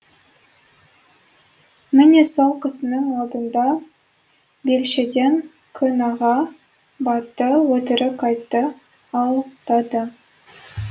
міне сол кісінің алдында белшеден күнәға батты өтірік айтты алдады